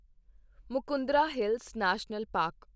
Mukundra hills national park